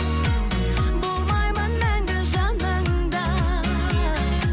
болмаймын мәңгі жаныңда